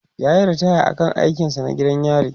yayi ritaya a aikin sa na gidan yari